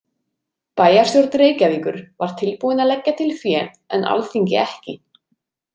Bæjarstjórn Reykjavíkur var tilbúin að leggja til fé en Alþingi ekki.